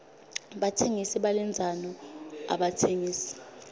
batsengisi balendzano abatsengisi